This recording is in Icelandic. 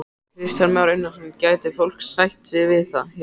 Kristján Már Unnarsson: Gæti fólk sætt sig við það hér?